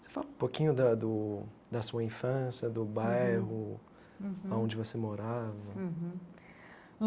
Você fala um pouquinho da do da sua infância, do uhum bairro uhum, a onde você morava uhum.